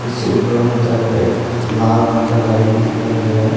जिसके ऊपर उतर के एक लाल रंग का गाड़ी भी दिखाई दे रहा है।